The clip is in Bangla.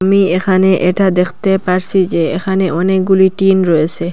আমি এখানে এটা দেখতে পারসি যে এখানে অনেকগুলি টিন রয়েসে।